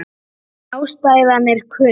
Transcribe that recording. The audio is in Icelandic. Ástæðan er kunn.